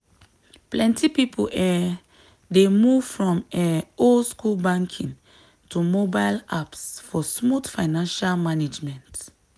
plenty people um dey move from um old-school banking to mobile apps for smooth financial management.